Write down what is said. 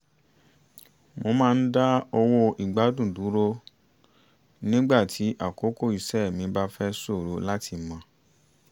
mo máa ń dá owó ìgbàdun dúró nígbà tí àkókò iṣẹ́ mi bá fẹ́ ṣòro láti mọ̀